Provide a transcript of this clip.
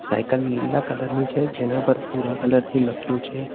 Cycle લીલા colour ની છે જેના પર ભૂરા કલર થી લખ્યું છે.